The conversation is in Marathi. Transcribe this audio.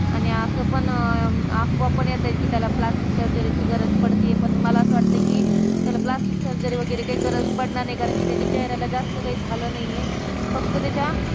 आणि असं पण अं अफवा येतात कि त्याला plastic surgery गरज पडती ये पण मला असं वाटत कि त्याला plastic surgery वगैरे काही गरज पडणार नाहीकारण कि त्याच्या चेहऱ्याला जास्त काही झालं नाही ये फक्त त्याच्या